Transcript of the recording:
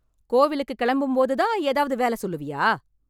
கோவிலுக்கு கிளம்பும்போது தான் ஏதாவது வேல சொல்லுவியா?